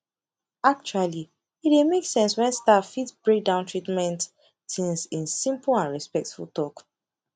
actually e dey make sense when staff fit break down treatment things in simple and respectful talk